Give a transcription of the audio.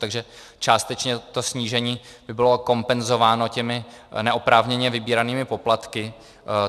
Takže částečně to snížení by bylo kompenzováno těmi neoprávněně vybíranými poplatky.